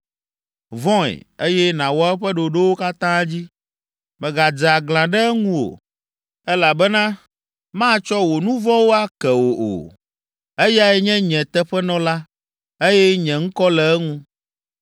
Vɔ̃e, eye nàwɔ eƒe ɖoɖowo katã dzi. Mègadze aglã ɖe eŋu o, elabena matsɔ wò nu vɔ̃wo ake wò o. Eyae nye nye teƒenɔla, eye nye ŋkɔ le eŋu.